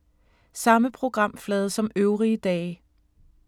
Samme programflade som øvrige dage